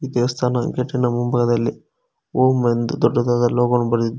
ದೇವಸ್ಥಾನ ಗೇಟಿನ ಮುಂಭಾಗದಲ್ಲಿ ಓಂ ಎಂದು ದೊಡ್ಡದಾದ ಲೋಗೋ ವನ್ನು ಬರೆದಿದ್ದಾ--